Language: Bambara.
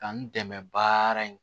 Ka n dɛmɛ baara in